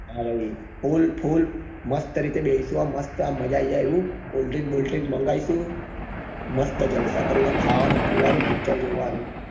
ફૂલ ફૂલ મસ્ત રીતે બેહીસું આમ મસ્ત મજા આવી જાય એવું cold drink બોલ drink માંન્ગીસું મસ્ત જલસા કરીને ખાવાનું પીવાનું ને picture જોવાનું.